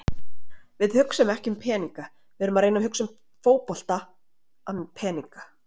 Við hugsum ekki um peninga, við erum að reyna að hugsa um fótbolta en peninga.